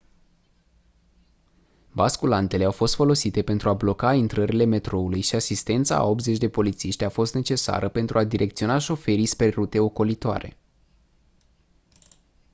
basculantele au fost folosite pentru a bloca intrările metroului și asistența a 80 de polițiști a fost necesară pentru a direcționa șoferii spre rute ocolitoare